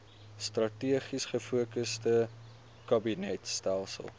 strategies gefokusde kabinetstelsel